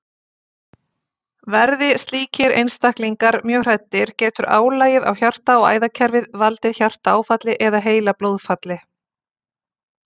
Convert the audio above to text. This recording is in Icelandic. Verði slíkir einstaklingar mjög hræddir getur álagið á hjarta- og æðakerfið valdið hjartaáfalli eða heilablóðfalli.